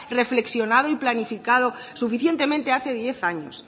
reflexionado y planificado suficientemente hace diez años